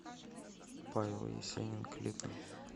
павел есенин клипы